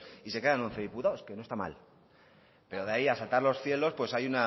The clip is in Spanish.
y se quedan en once diputados que no está mal pero de ahí a asaltar los cielos pues hay